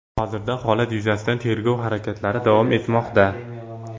Hozirda holat yuzasidan tergov harakatlari davom etmoqda.